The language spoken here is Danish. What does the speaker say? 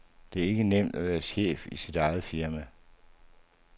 Det er ikke nemt at være chef i sit eget firma.